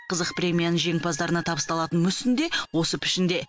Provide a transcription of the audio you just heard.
қызық премияның жеңімпаздарына табысталатын мүсін де осы пішінде